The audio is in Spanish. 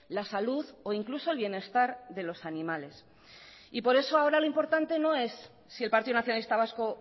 la salud o incluso el bienestar de los animales por eso ahora lo importante no es si el partido nacionalista vasco